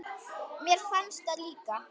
Mér fannst það líka.